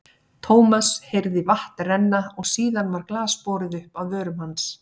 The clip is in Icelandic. Thomas heyrði vatn renna og síðan var glas borið upp að vörum hans.